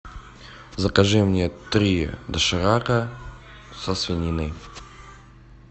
закажи мне три доширака со свининой